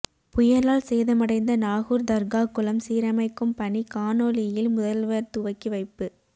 புயலால் சேதமடைந்த நாகூர் தர்கா குளம் சீரமைக்கும் பணி காணொளியில் முதல்வர் துவக்கி வைப்பு